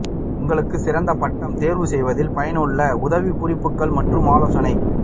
உங்களுக்கு சிறந்த பட்டம் தெரிவு செய்வதில் பயனுள்ள உதவிக்குறிப்புகள் மற்றும் ஆலோசனை